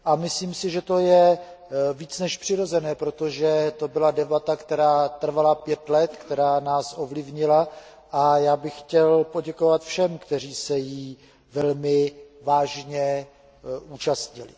Myslím si, že je to víc než přirozené, protože to byla debata, která trvala pět let, která nás ovlivnila, a já bych chtěl poděkovat všem, kteří se jí velmi vážně účastnili.